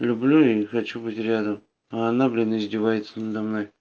люблю и хочу быть рядом а она блин издевается надо мной